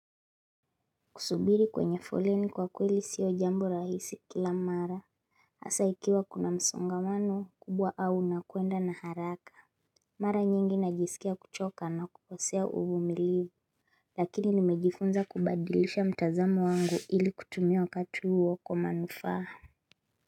Kusubiri kwenye foleni kwa kweli sio jambo rahisi kila mara. Asa ikiwa kuna msongamano kubwa au na kuenda na haraka. Mara nyingi najisikia kuchoka na kuposea uhumiliu. Lakini nimejifunza kubadilisha mtazamo wangu ili kutumia wakatu uwo kwa manufahau.